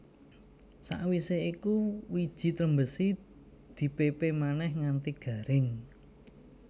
Sawisé iku wiji trembesi di pépé manèh nganti garing